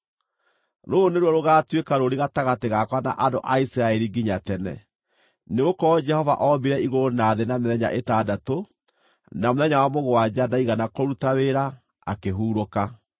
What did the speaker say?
Rũrũ nĩruo rũgaatuĩka rũũri gatagatĩ gakwa na andũ a Isiraeli nginya tene, nĩgũkorwo Jehova ombire igũrũ na thĩ na mĩthenya ĩtandatũ na mũthenya wa mũgwanja ndaigana kũruta wĩra, akĩhurũka.’ ”